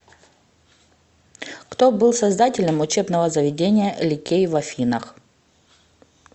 кто был создателем учебного заведения ликей в афинах